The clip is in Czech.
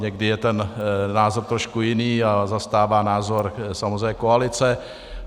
Někdy je ten názor trošku jiný a zastává názor samozřejmě koalice.